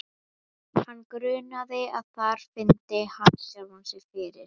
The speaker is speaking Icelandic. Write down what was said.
Hann grunaði að þar fyndi hann sjálfan sig fyrir.